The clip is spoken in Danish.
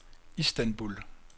Istanbul